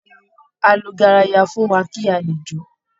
Á lu garaya fún wa kí a lè jó